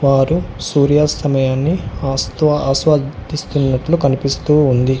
వారు సూర్యస్తమయాన్ని అస్త్వ అస్త్యదిస్తున్నట్టు కనిపిస్తూ ఉంది.